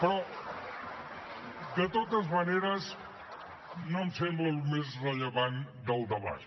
però de totes maneres no em sembla el més rellevant del debat